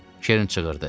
Kern çığırdı.